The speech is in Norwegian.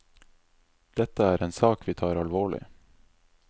Dette er en sak vi tar alvorlig.